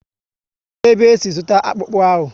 Kedụ ebe e si zụta akpụkpu ahụ?